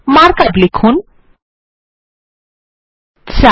mark up লিখুন 4